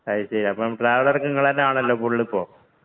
അത് ശരി. ട്രാവലര്‍ ഒക്കെ നിങ്ങള് തന്നെയാണല്ലോ ഫുള്ള് ഇപ്പൊ..